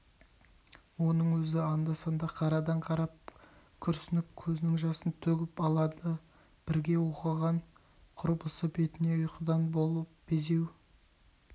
оның өзі анда-санда қарадан-қарап күрсініп көзінің жасын төгіп-төгіп алады бірге оқыған құрбысы бетіне ұйқыдай болып безеу